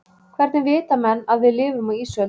Hvernig vita menn að við lifum á ísöld?